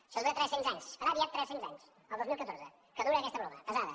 això dura tres cents anys farà aviat tres cents anys el dos mil catorze que dura aquesta broma pesada